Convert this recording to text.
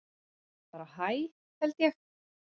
Bara hæ held ég.